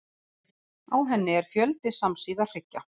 Á henni er fjöldi samsíða hryggja.